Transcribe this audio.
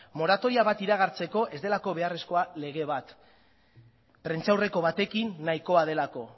moratoria bat iragartzeko ez delako beharrezkoa lege bat prentsaurreko batekin nahikoa delako